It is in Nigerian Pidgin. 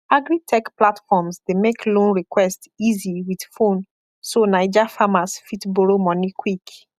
agritech platforms dey make loan request easy with phone so naija farmers fit borrow money quick